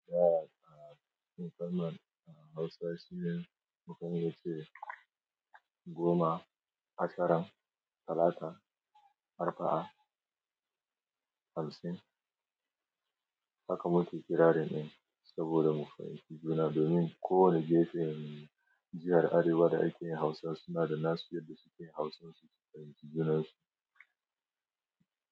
Ya kalmar a Hausa shine mu kan yi cewa goma, ashirin, talata, arfa'a, hamsin. Haka muke kirarin din saboda mu fahimci juna domin kowane gefen jihar Arewa da a ke yin Hausa suna da nasu yadda suke Hausan su su fahimci junan su.